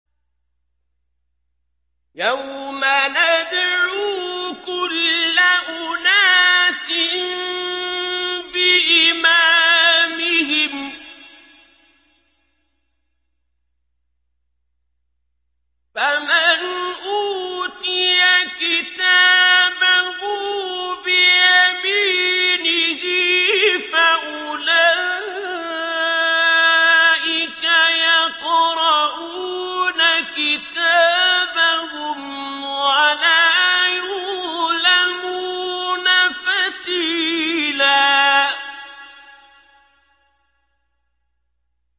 يَوْمَ نَدْعُو كُلَّ أُنَاسٍ بِإِمَامِهِمْ ۖ فَمَنْ أُوتِيَ كِتَابَهُ بِيَمِينِهِ فَأُولَٰئِكَ يَقْرَءُونَ كِتَابَهُمْ وَلَا يُظْلَمُونَ فَتِيلًا